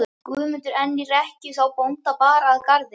Guðmundur enn í rekkju þá bónda bar að garði.